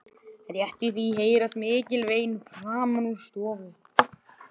Rétt í því heyrast mikil vein framan úr stofu.